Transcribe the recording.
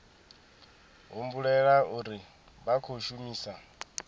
humbulela uri vha khou shumisa